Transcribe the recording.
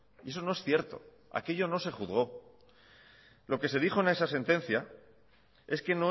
y eso no es cierto aquello no se juzgo lo que se dijo en esa sentencia es que